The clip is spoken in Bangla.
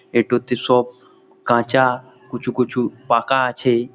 এই তা হচ্ছে সব কাঁচা কুচু কুচু পাকা আছে।